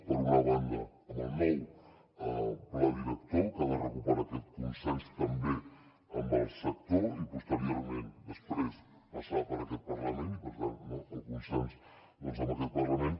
per una banda amb el nou pla director que ha de recuperar aquest consens també amb el sector i posteriorment després passar per aquest parlament i per tant no el consens amb aquest parlament